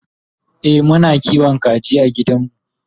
e Muna kiwon kaji a gidanmu